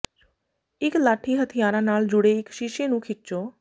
ਇੱਕ ਲਾਠੀ ਹਥਿਆਰਾਂ ਨਾਲ ਜੁੜੇ ਇੱਕ ਸ਼ੀਸ਼ੇ ਨੂੰ ਖਿੱਚੋ